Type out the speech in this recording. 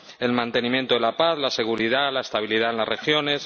el mantenimiento de la paz, la seguridad, la estabilidad en las regiones